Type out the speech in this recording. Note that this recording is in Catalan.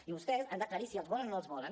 i vostès han d’aclarir si els volen o no els volen